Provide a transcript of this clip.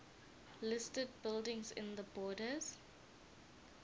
listed buildings in the borders